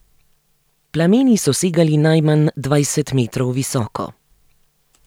Plameni so segali najmanj dvajset metrov visoko.